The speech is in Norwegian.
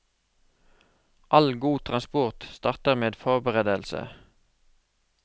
All god transport starter med forberedelse.